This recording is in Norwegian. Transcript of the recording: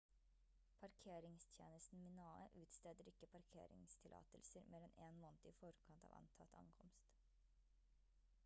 parkeringstjenesten minae utsteder ikke parkeringstillatelser mer enn én måned i forkant av antatt ankomst